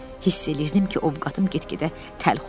Hiss eləyirdim ki, ovqadım get-gedə təlx olur.